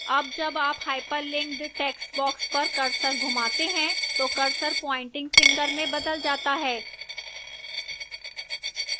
अब जब आप hyperlinked text पर cursor घूमाते हैं तो cursor प्वाइंटिंग finger में बदल जाता है